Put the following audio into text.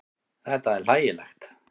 Þetta er hlægilegt.